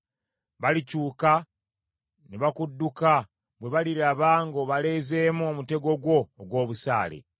Balikyuka ne bakudduka bwe baliraba ng’obaleezeemu omutego gwo ogw’obusaale.